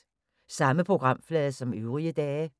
Samme programflade som øvrige dage